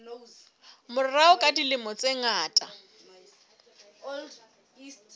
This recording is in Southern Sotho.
morao ka dilemo tse ngata